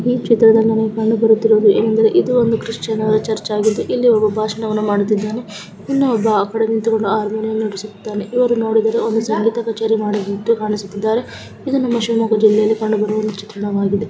ಈ ಚಿತ್ರದಲ್ಲಿ ನಮಗೆ ಇದು ಒಂದು ಕ್ರಿಷಿಯನ್ ಚರ್ಚಾ ಗಿದ್ದು ಇಲ್ಲಿ ಒಬ್ಬ ಭಾಷಣವನ್ನು ಮಾಡುತ್ತಿದ್ದಾನೆ ಇನ್ನೊಬ್ಬ ಆ ಕಡೆ ನಿಂತುಕೊಂಡು ಹಾರ್ಮೋನಿಯಂ ನುಡಿಸುತ್ತಿದ್ದಾನೆ ಇದನ್ನು ನೋಡಿದರೆ ಇವರು ಸಂಗೀತ ಕಚೇಯನ್ನು ಮಾಡುತ್ತಿರುವ ಹಾಗೆ ಕಾಣುತ್ತದೆ ಇದು ನಮ್ಮ ಶಿವಮೊಗ್ಗ ಜಿಲ್ಲೆಯಲ್ಲಿ ಕಂಡುಬರುವ ಚಿತ್ರಾನ ವಾಗಿದೆ.